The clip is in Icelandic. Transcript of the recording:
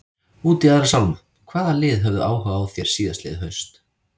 Út í aðra sálma, hvaða lið höfðu áhuga á þér síðastliðið haust?